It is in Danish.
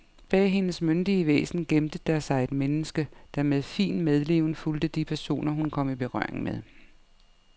Bag hendes myndige væsen gemte der sig et menneske, der med fin medleven fulgte de personer, hun kom i berøring med.